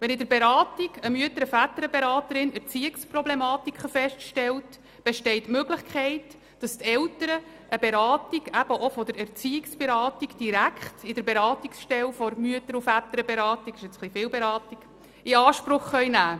Wenn in der Beratung eine Mütter-/Väterberaterin Erziehungsproblematiken feststellt, besteht die Möglichkeit, dass die Eltern eine Beratung auch von der Erziehungsberatung direkt in der Beratungsstelle der Mütter- und Väterberatung in Anspruch nehmen können.